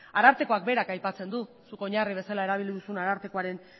arartekoak berak aipatzen du zuk oinarri bezala erabili duzun arartekoaren